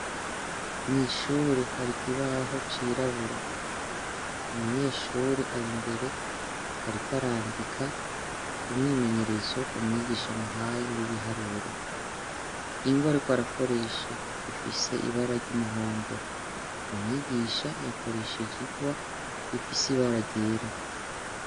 Mw'ishuri hari ikibaho cirabura umunyeshuri ari imbere, ariko arandika umwimenyerezo umwigisha muhaye w'ibiharuro ingoe, ariko arakoresha ifise ibara ry'umuhondo umwigisha yakoresheje ingwa ifiseiwe baragera.